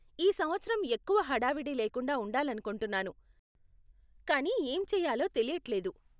ఈ సంవత్సరం ఎక్కువ హడావిడి లేకుండా ఉండాలనుకుంటున్నాను, కానీ ఏం చేయాలో తెలియట్లేదు.